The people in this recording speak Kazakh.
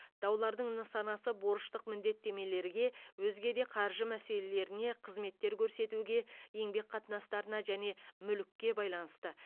даулардың нысанасы борыштық міндеттемелерге өзге де қаржы мәселелеріне қызметтер көрсетуге еңбек қатынастарына және мүлікке байланысты